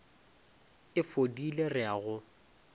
e fodile re a go